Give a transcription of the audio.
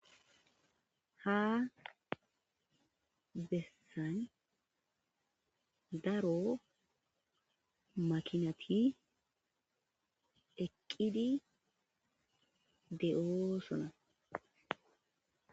Ha bessan daaro maakinati eqqidi de'ossona.